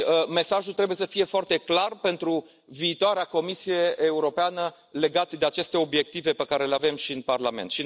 Mesajul trebuie să fie foarte clar pentru viitoarea Comisie Europeană legat de aceste obiective pe care le avem și în Parlament.